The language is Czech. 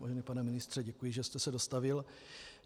Vážený pane ministře, děkuji, že jste se dostavil.